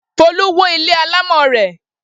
Folú wó ilé alámọ̀ rẹ̀.